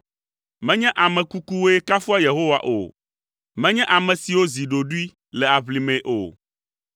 Menye ame kukuwoe kafua Yehowa o, menye ame siwo zi ɖoɖoe le aʋlimee o;